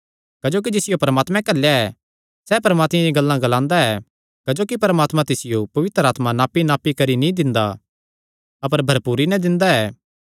क्जोकि जिसियो परमात्मैं घल्लेया ऐ सैह़ परमात्मे दियां गल्लां ग्लांदा ऐ क्जोकि परमात्मा तिसियो पवित्र आत्मा नापीनापी करी नीं दिंदा अपर भरपूरी नैं दिंदा ऐ